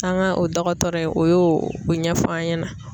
An ka o dɔgɔtɔrɔ in o y'o o ɲɛfɔ an ɲɛna.